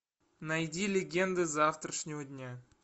найди легенды завтрашнего дня